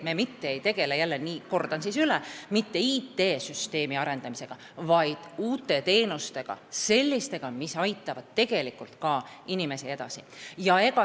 Me mitte ei tegele jälle – kordan siis üle – IT-süsteemi arendamisega, vaid uute teenustega, sellistega, mis inimesi tegelikult aitavad.